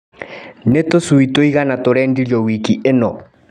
Nĩ tũcui tũigana tũrendirio wiki ĩno.